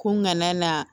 Ko n kana na